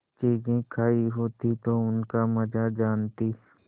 चीजें खायी होती तो उनका मजा जानतीं